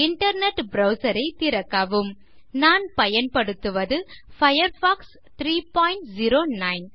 internet browser ஐ திறக்கவும் நான் பயன்படுத்துவது பயர்ஃபாக்ஸ் 309